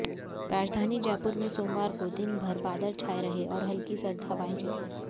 राजधानी जयपुर में सोमवार को दिन भर बादल छाये रहे और हल्की सर्द हवाएं चलीं